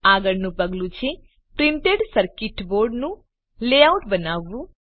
આગળનું પગલું છે પ્રિન્ટેડ સર્કીટ બોર્ડનું લેઆઉટ બનાવવું